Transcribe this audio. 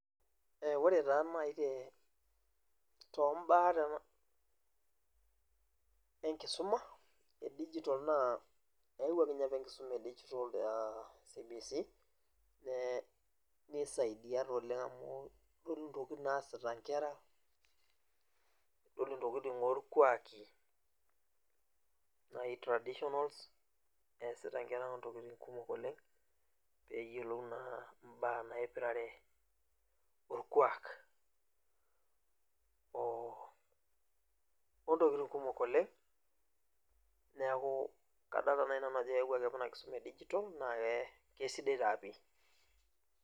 Ore taa nai tombaa enkisuma e digital na eyawuaki apa enkisuma e digital a cbc nisaidia si oleng amu idolta ntokitin naasita nkera idol ntokitin orkuaki easita nkera ntokitin kumok oleng peyiolou na mbaa naipirare orkuak ontokitin kumok oleng neaku ore ena kisuma e e digital na kesidai taa pii.